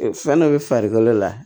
Fɛn dɔ bɛ farikolo la